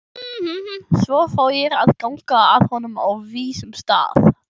Svo fór ég að ganga að honum á vísum stað.